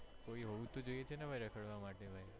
કોઈ હોવું તો જોઈએ છે ને ભાઈ રખડવા માટે ભાઈ